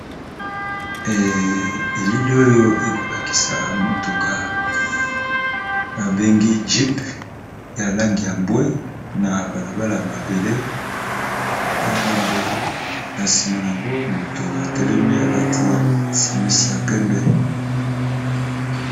Elili oyo ekolakisa motuka ba bengi jeep ya langi ya mbwe, na bala bala ya mabele na ngambo na nsima na yango moto atelemi alati simisi ya pembe.